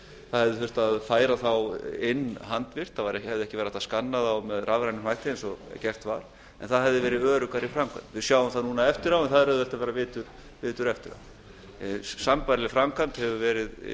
það hefði þurft að færa þá inn handvirkt það hefði ekki verið hægt að skanna þá rafrænt eins og gert var en það hefði verið öruggari framkvæmd við sjáum það núna eftir á en það er auðvelt að vera vitur eftir á sambærileg framkvæmd hefur verið